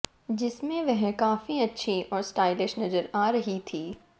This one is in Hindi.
जिसमें वह काफी अच्छी और स्टाइलिश नजर आ रही थी